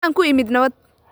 Waxaan ku imid nabad